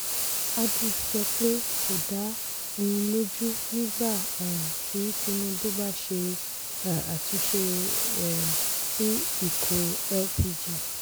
adu sọ pé kò dá òun lójú nígbà um tí tinubu bá ṣe um àtúnṣe um sí ikó lpg.